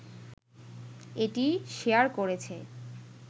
এটি শেয়ার করেছে